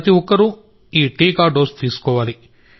ప్రతి ఒక్కరూ ఈ టీకా డోసు తీసుకోవాలి